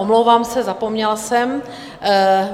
Omlouvám se, zapomněla jsem.